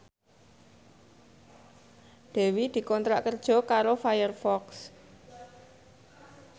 Dewi dikontrak kerja karo Firefox